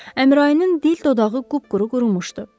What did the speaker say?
Əmrayinin dil dodağı qıp-quru qurumuşdu,